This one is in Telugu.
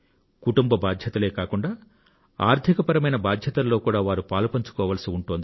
కుటుంబ బాధ్యతలే కాకుండా ఆర్థికపరమైన బాధ్యతలలో కూడా వారు పాలుపంచుకోవాల్సి ఉంటోంది